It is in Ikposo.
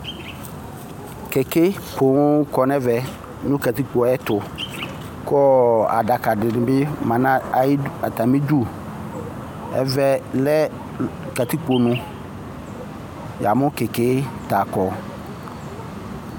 kɛkɛ pooo kɔnu ɛmɛ nʋ katikpɔyɛtʋ kʋɔ adakadidibi ma nayi atamidu Ɛvɛ lɛ katikponu Yamʋ kɛkɛ takɔ